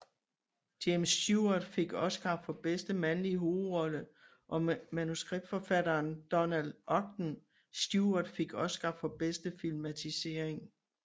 James Stewart fik Oscar for bedste mandlige hovedrolle og manuskriptforfatteren Donald Ogden Stewart fik Oscar for bedste filmatisering